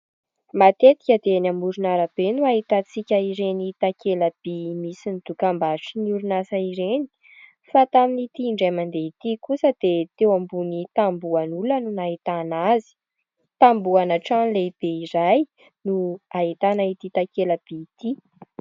Matetika dia ny amoron'arabe no ahitantsika ireny takelam-by misy ny dokam-barotra ny oronasa ireny fa tamin'ity indray mandeha ity kosa dia teo ambony tambohan'olona no nahitana azy tambohana trano lehibe iray no nahitana ity takelam-by ity.